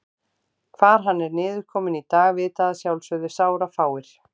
Hvar hann er niðurkominn í dag vita að sjálfsögðu sárafáir.